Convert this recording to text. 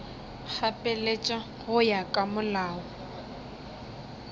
gapeletša go ya ka molao